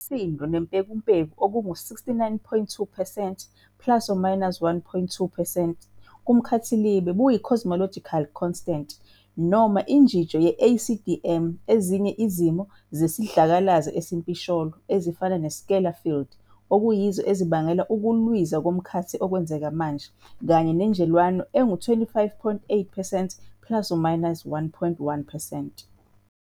Isisindo nempekumpeku okungama- 69.2 percent plus or minus 1.2 percent kumkhathilibe buyi- cosmological constant, noma, injijo ye- ACDM, ezinye izimo zesidlakalasi esimpisholo, ezifana, scalar field, okuyizo ezibangela ukulwiza komkhathi okwenzeka manje, kanye nenjelwane engama - 25.8 percent plus or minus 1.1 percent.